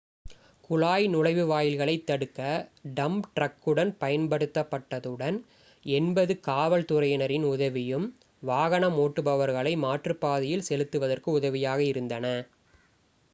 குழாய் நுழைவாயில்களைத் தடுக்க டம்ப் ட்ரக்குகள் பயன்படுத்தப்பட்டதுடன் 80 காவல்துறையினரின் உதவியும் வாகனம் ஓட்டுபவர்களை மாற்றுப்பாதையில் செலுத்துவதற்கு உதவியாக இருந்தன